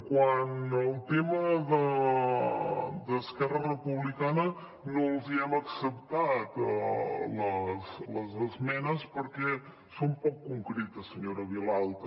quant al tema d’esquerra republicana no els hi hem acceptat les esmenes perquè són poc concretes senyora vilalta